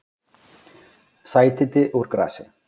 Sætindi úr grasi